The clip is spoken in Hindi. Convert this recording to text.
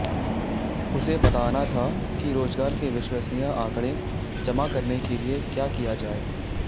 उसे बताना था कि रोज़गार के विश्वसनीय आँकड़े जमा करने के लिए क्या किया जाए